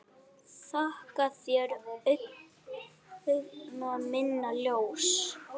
Þakka þér, augna minna ljós.